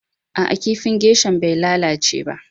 Aa, kifin geisha'n bai lallace ba.